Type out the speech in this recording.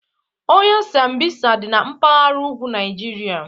Ọhịa Sambisa dị na mpaghara ugwu Naịjirịa.